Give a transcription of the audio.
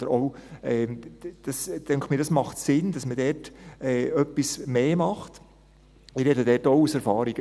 Mir scheint auch, dass es Sinn macht, dass man dort etwas mehr macht, und ich rede auch aus Erfahrung.